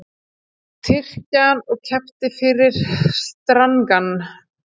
Tyrkjann og keypti fyrri strangann.